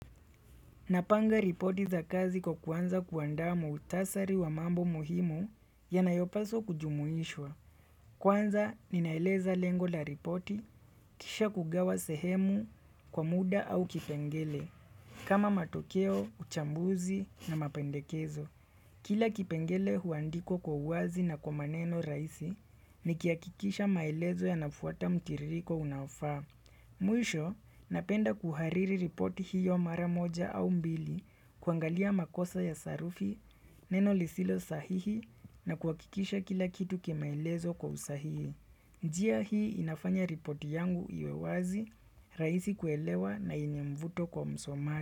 Napanga ripoti za kazi kwa kuanza kuanda muhutasari wa mambo muhimu ya nayopaso kujumuishwa. Kwanza, ninaeleza lengo la ripoti, kisha kugawa sehemu, kwa muda au kipengele, kama matokeo, uchambuzi na mapendekezo. Kila kipengele huandikwa kwa uazi na kwa maneno rahisi, nikihakikisha maelezo ya nafuata mkiririko unafaa. Muisho napenda kuhariri ripoti hiyo mara moja au mbili kuangalia makosa ya sarufi, neno lisilo sahihi na kuakikisha kila kitu kimaelezo kwa usahihi. Njia hii inafanya ripoti yangu iwe wazi, raisi kuelewa na yenye mvuto kwa msomaji.